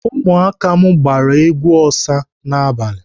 Ụmụaka m agbara egwu Osa n'abalị?